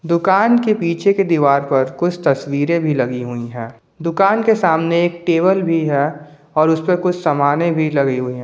दुकान के पीछे के दीवार पर कुछ तस्वीरें भी लगी हुई है दुकान के सामने एक टेबल भी है और उसपर कुछ सामाने भी लगी हुई है।